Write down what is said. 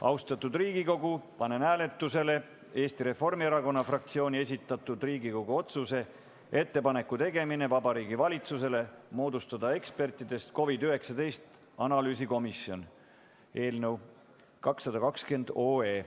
Austatud Riigikogu, panen hääletusele Eesti Reformierakonna fraktsiooni esitatud Riigikogu otsuse "Ettepaneku tegemine Vabariigi Valitsusele moodustada ekspertidest COVID-19 analüüsikomisjon" eelnõu 220.